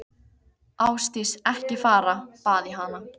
Ásdís, ekki fara, bað ég hana.